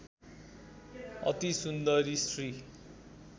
अति सुन्दरी स्त्री